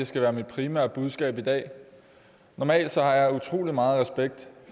skal være mit primære budskab i dag normalt har jeg utrolig meget respekt